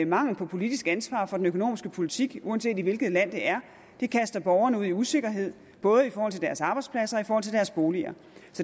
mangel på politisk ansvar for den økonomiske politik uanset i hvilket land det er kaster borgerne ud i usikkerhed både i forhold til deres arbejdspladser og i forhold til deres boliger